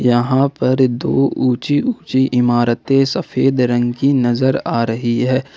यहां पर दो ऊंची ऊंची इमारतें सफेद रंग की नजर आ रही है।